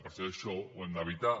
per això això ho hem d’evitar